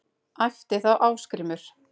æpti þá Ásgrímur